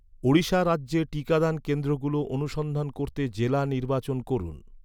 ওড়িশা রাজ্যে টিকাদান কেন্দ্রগুলো অনুসন্ধান করতে জেলা নির্বাচন করুন